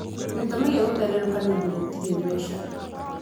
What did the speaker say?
Gĩtũmi gĩa gũtenderũka nĩ ũndũ gũtirĩ mbeca.